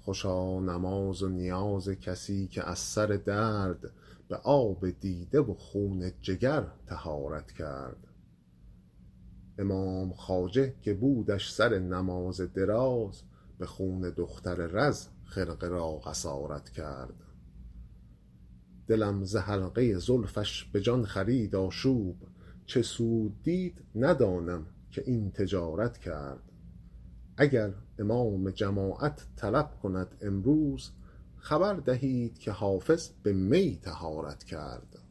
خوشا نماز و نیاز کسی که از سر درد به آب دیده و خون جگر طهارت کرد امام خواجه که بودش سر نماز دراز به خون دختر رز خرقه را قصارت کرد دلم ز حلقه زلفش به جان خرید آشوب چه سود دید ندانم که این تجارت کرد اگر امام جماعت طلب کند امروز خبر دهید که حافظ به می طهارت کرد